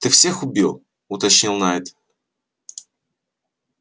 ты всех убил уточнил найд